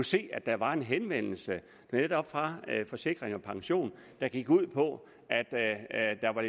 se at der var en henvendelse netop fra forsikring pension der gik ud på at der var